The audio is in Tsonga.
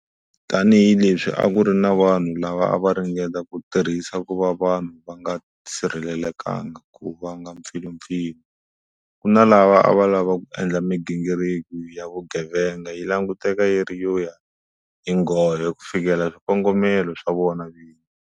Tanihileswi a ku ri na vanhu lava a va ringeta ku tirhisa ku va vanhu va nga sirhelelekanga ku vanga mpfilumpfilu, ku na lava ava lava ku endla migingiriko ya vugevega yi languteka yi ri yo ya hi nghohe ku fikelela swikongomelo swa vona vini.